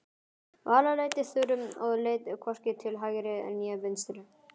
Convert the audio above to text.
Vala leiddi Þuru og leit hvorki til hægri né vinstri.